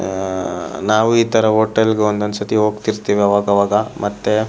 ಆಹ್ ನಾವು ಈ ತರ ಹೋಟೆಲ್ ಗೆ ಒಂದೊಂದು ಸರ್ತಿ ಹೋಗ್ತಿರ್ತೀವಿ ಅವಾಗವಾಗ‌ ಮತ್ತೆ --